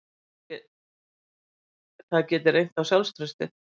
Það geti reynt á sjálfstraustið